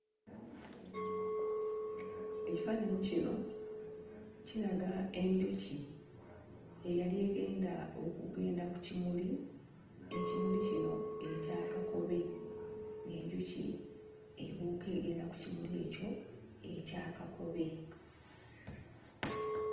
Ekifaananyi kino kiraga enjuki eyali egenda okugenda ku kimuli. Ekimuli kino ekya kakobe, ng'enjuki ebuuka egenda ku kimuli ekyo ekya kakobe.